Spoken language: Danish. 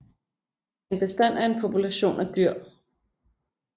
En bestand er en population af dyr